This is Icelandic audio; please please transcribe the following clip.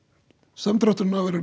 samdrátturinn verður